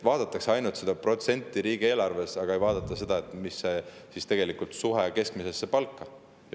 Vaadatakse ainult seda protsenti riigieelarves, aga ei vaadata seda, milline on tegelikult suhe keskmise palgaga.